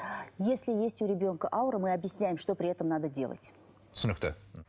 если есть у ребенка аура мы объясняем что при этом надо делать түсінікті